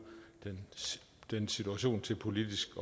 den situation til politisk